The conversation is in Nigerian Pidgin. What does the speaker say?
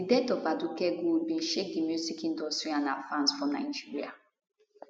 di death of aduke gold bin shake di music industry and her fans for nigeria